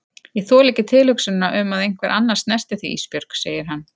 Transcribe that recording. Ég þoli ekki tilhugsunina um að einhver annar snerti þig Ísbjörg, segir hann.